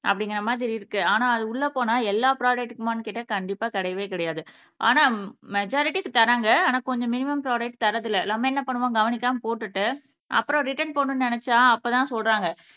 அப்பிடிங்குற மாதிரி இருக்கு ஆனா அது உள்ள போனா எல்லா ப்ராடக்ட்டுக்குமானு கேட்ட கண்டிப்பா கிடையவே கிடையாது ஆனா மெஜாரிட்டிக்கு தறாங்க ஆனா கொஞ்சம் மினிமம் ப்ராடக்ட்கு தரது இல்ல எல்லாமே என்ன பண்ணுவாங்க கவனிக்காம போட்டுட்டு அப்புறம் ரிட்டன் போடணும்னு நினச்சா அப்ப தான் சொல்றாங்க